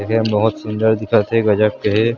देखे में बहुत सुन्दर दिखत हे गजब के हे।